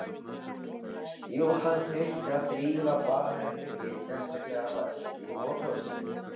Jú, hann þurfti að þrífa baðherbergið, sérstaklega vaskinn og klósettið.